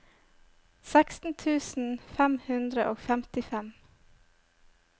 seksten tusen fem hundre og femtifem